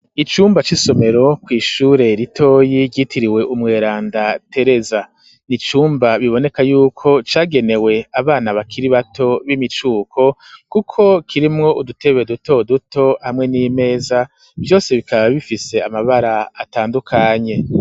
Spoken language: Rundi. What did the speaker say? Icumba c'isomero, kw'ishure ritoyi ryitiriwe umweranda Tereza, ni icumba biboneka y'uko cagenewe abana bakiri bato b'imicuko, kuko kirimwo udutebe duto duto hamwe n'imeza, vyose bikaba bifise amabara atandukanye.